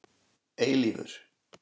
Eilífur